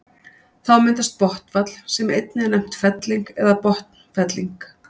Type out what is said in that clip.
Þá myndast botnfall sem einnig er nefnt felling eða botnfelling.